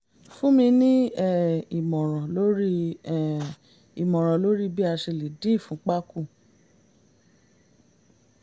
fún mi ní um ìmọ̀ràn lórí um ìmọ̀ràn lórí bí a ṣe lè dín ìfúnpá kù